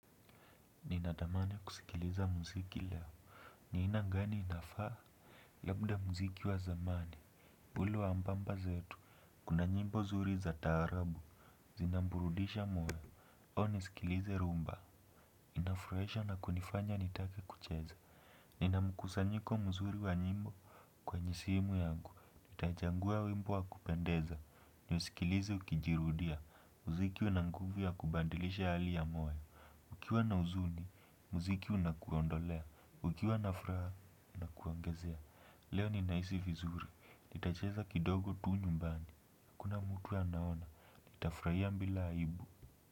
Ninatamani kusikiliza mziki leo. Ni aina gani inafaa? Labda mziki wa zamani. Ulio wa mababa zetu. Kuna nyimbo nzuri za taarabu. Zinaburudisha moyo. Huwa nasikiliza rumba. Inafurahisha na kunifanya nitake kucheza. Nina mkusanyiko mzuri wa nyimbo. Kwemye simu yangu. Nitachagua wimmo wa kupendeza. Niusikilize ukijirudia. Mziki una nguvu ya kubadilisha hali ya moyo. Ukiwa na uzuni. Mziki unakuondolea. Ukiwa na furaha inakuangezea, leo ninahisi vizuri, nitacheza kidogo tu nyumbani, hakuna mtu anaona, nitafuraia bila aibu.